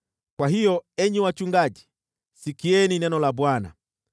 kwa hiyo enyi wachungaji, sikieni neno la Bwana :